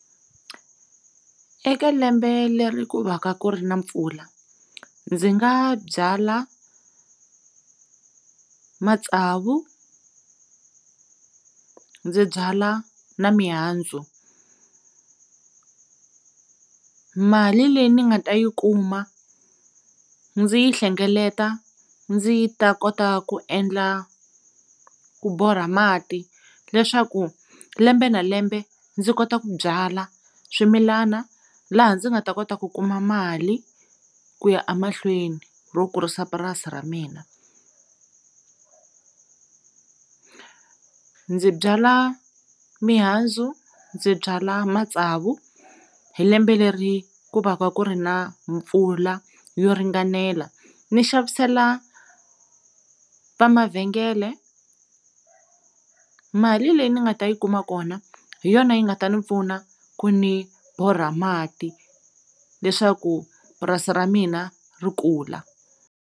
Eka lembe leri ku va ka ku ri na mpfula ndzi nga byala matsavu ndzi byala na mihandzu mali leyi ndzi nga ta yi kuma ndzi yi hlengeleta ndzi yi ta kota ku endla ku borha mati leswaku lembe na lembe ndzi kota ku byala swimilana laha ndzi nga ta kota ku kuma mali ku ya a mahlweni ro kurisa purasi ra mina ndzi byala mihandzu ndzi byala matsavu hi lembe leri ku va ka ku ri na mpfula yo ringanela ni xavisela va mavhengele mali leyi ni nga ta yi kuma kona hi yona yi nga ta ndzi pfuna ku ndzi borha mati leswaku purasi ra mina ri kula.